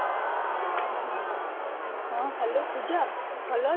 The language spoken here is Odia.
ହଁ, hello ପୂଜା ଭଲ